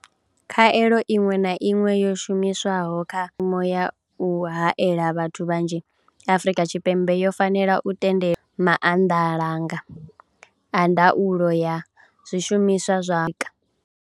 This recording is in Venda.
Khaelo iṅwe na iṅwe yo shumiswaho kha ya u haela vhathu vhanzhi Afrika Tshipembe yo fanela u tendelwa maanḓalanga a ndaulo ya zwishumiswa zwa.